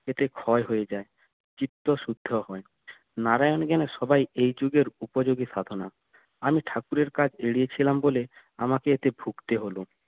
এতে ক্ষয় হয়ে যায় চিত্ত শুদ্ধ হয় নারায়ণ এখানে সবাই এই যুগের উপযোগী সাধনা আমি ঠাকুরের কাজ এড়িয়ে ছিলাম বলে আমাকে এতে ভুগতে হলো